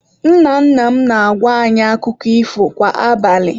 Nna nna m na-agwa anyị akụkọ ifo kwa abalị.